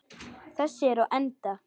Þessi er á enda.